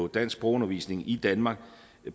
danskundervisning i danmark